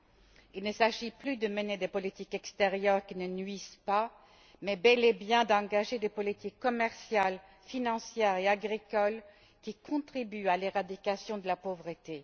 2015. Il ne s'agit plus de mener des politiques extérieures qui ne nuisent pas mais, bel et bien, d'engager des politiques commerciales, financières et agricoles qui contribuent à l'éradication de la pauvreté.